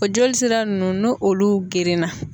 O jolisira ninnu nu olu gerenna